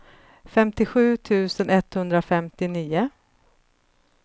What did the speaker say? femtiosju tusen etthundrafemtionio